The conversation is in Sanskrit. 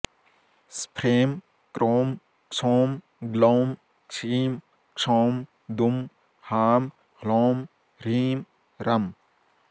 स्फ्रें क्रों क्षौं ग्लौं क्षीं क्षौं दुं हां ह्लौं ह्रीं रं